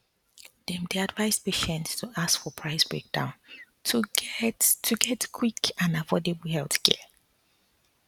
dem dey advise patients to ask for price breakdown to get to get quick and affordable healthcare